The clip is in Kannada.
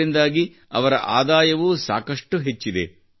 ಇದರಿಂದಾಗಿ ಅವರ ಆದಾಯವೂ ಸಾಕಷ್ಟು ಹೆಚ್ಚಿದೆ